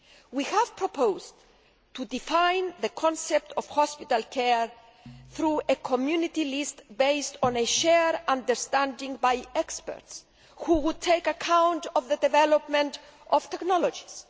We have proposed to define the concept of hospital care through a Community list based on the shared understanding of experts, who would take account of the development of technologies.